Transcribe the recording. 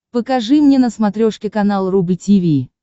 покажи мне на смотрешке канал рубль ти ви